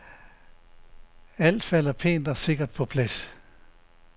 Alt falder pænt og sikkert på plads.